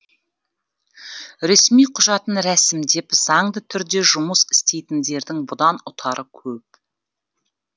ресми құжатын рәсімдеп заңды түрде жұмыс істейтіндердің бұдан ұтары көп